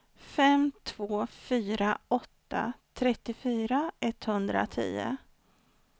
fem två fyra åtta trettiofyra etthundratio